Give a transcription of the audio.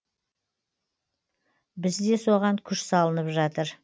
бізде соған күш салынып жатыр